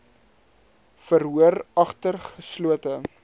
verhoor agter geslote